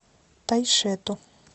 тайшету